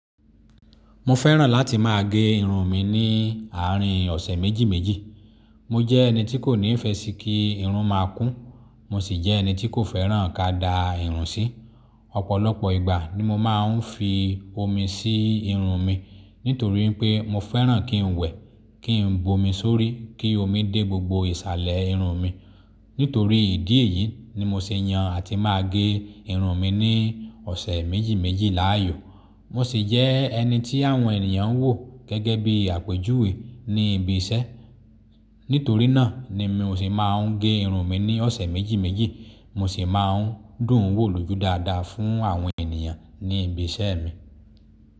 Mo fẹ́ràn láti máa gé irun mi ní ààrin ọ̀sẹ̀ méjì méjì. Mo jẹ́ ẹni tí kò ní ìfẹ́ sí kí irun máa kún, mo sì jẹ́ ẹni tí kò fẹ́ràn kàdà irun sí. Ọ̀pọ̀lọpọ̀ ìgbà ni mo máa ń fi omi sí irun mi nítorí pé mo fẹ́ràn kí n wẹ̀, kí n bomi sórí, kí omi dé gbogbo ìsàlẹ̀ irun mi. Nítorí ìdí èyí ni mo sì yan àti máa gé irun mi ní ọ̀sẹ̀ méjì méjì láàyò. Mo sì jẹ́ ẹni tí àwọn ènìyàn ń wò gẹ́gẹ́ bí àpèjúwe ní ibi iṣẹ́. Nítorí náà ni mi ò sì máa ń gé irun mi ní ọ̀sẹ̀ méjì méjì, mo sì máa ń dùn wò lójú dáadáa fún àwọn ènìyàn ní ibi iṣẹ́ mi.